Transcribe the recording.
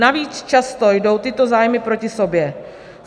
Navíc často jdou tyto zájmy proti sobě.